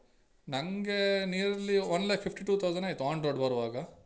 ನಂಗೆ nearly one lakh fifty two thousand ಆಯ್ತು on road ಬರುವಾಗ.